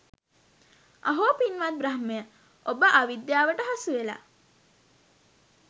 අහෝ, පින්වත් බ්‍රහ්මය, ඔබ අවිද්‍යාවට හසුවෙලා.